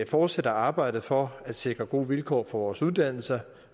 fortsætter arbejdet for at sikre gode vilkår for vores uddannelser